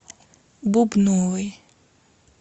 бубновой